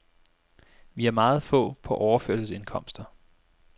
Vi har meget få på overførselsindkomster.